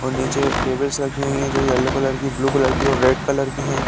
और नीचे टेबल्स रखी हुई हैं जो येल्लो कलर की ब्लू कलर और रेड कलर की हैं।